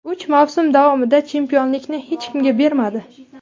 Uch mavsum davomida chempionlikni hech kimga bermadi.